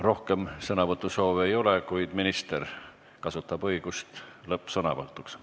Rohkem sõnavõtusoove ei ole, kuid minister kasutab õigust lõppsõnavõtuks.